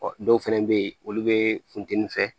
Ɔ dɔw fɛnɛ bɛ ye olu bɛ funtɛni fɛ